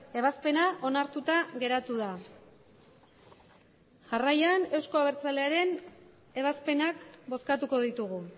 ebazpena onartuta geratu da jarraian euzko abertzalearen ebazpenak bozkatuko ditugu